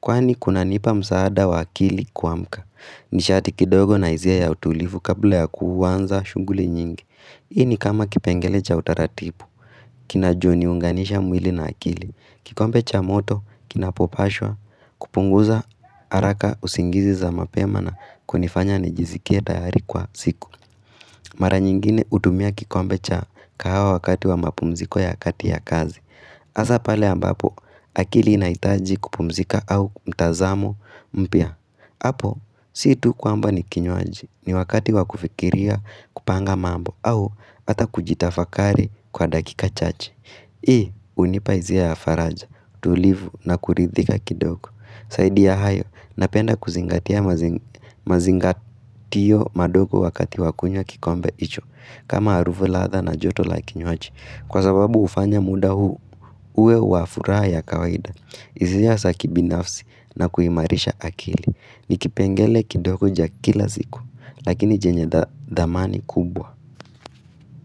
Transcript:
Kwani, kunanipa msaada wa akili kuamka. Nishaati kidogo na hizia ya utulivu kabla ya kuwanza shunguli nyingi. Ini kama kipengele cha utaratibu. Kinajo niunganisha mwili na akili. Kikombe cha moto, kinapopashwa. Kupunguza haraka usingizi za mapema na kunifanya nijizikie tayari kwa siku Mara nyingine uhutumia kikombe cha kahawa wakati wa mapumziko ya kati ya kazi Hasa pale ambapo akili inahitaji kupumzika au mtazamo mpya. Hapo si tu kwamba ni kinywaji ni wakati wa kufikiria kupanga mambo. Au hata kujitafakari kwa dakika chache. Hii hunipa hisia ya faraja tulivu na kuridhika kidogo. Zaidi ya hayo, napenda kuzingatia mazingatio madogo wakati wakunywa kikombe hicho, kama harufu latha na joto la kinywaji. Kwa sababu hufanya muda huu uwe wa furaha ya kawaida, hisia za ki binafsi na kuimarisha akili. Nikipengele kidogo ja kila ziku, lakini jenye dhamani kubwa.